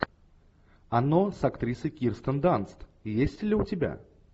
оно с актрисой кирстен данст есть ли у тебя